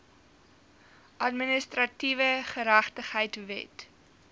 administratiewe geregtigheid wet